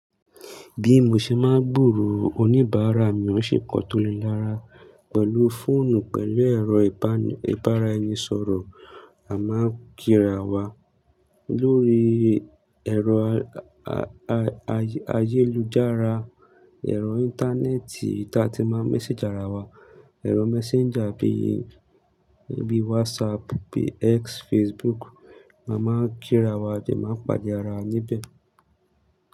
Bí mo ṣe máa ń gbòòrò oníbàárà mi, ó ń ṣe nnkan to le rára pẹ̀lú fóònù pẹ̀lú ẹ̀rọ ìbára-ẹni-sọ̀rọ̀. A máa ń kíra wa lórí ẹ̀rọ ayélujára, ẹ̀rọ Íńtánẹ́ẹ̀tì tí a ti máa ń message ara wa, ẹ̀rọ messenger bí i, bí i WhatsApp, bí i X, Facebook. Ma máa ń kíra wa a de máa ń pàdé arawa níbẹ̀.